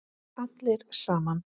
Allir saman.